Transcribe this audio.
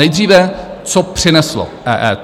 Nejdříve co přineslo EET.